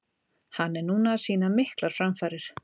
Hann er núna að sýna miklar framfarir.